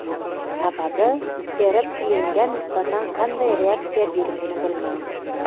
Sababi teri pilingga nisbatan qanday reaksiya berishini bilmaymiz.